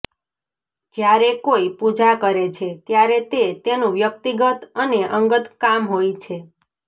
જ્યારે કોઈ પૂજા કરે છે ત્યારે તે તેનું વ્યક્તિગત અને અંગત કામ હોય છે